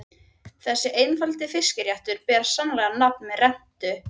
Þessi einfaldi fiskréttur ber sannarlega nafn með rentu.